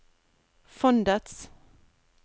fondets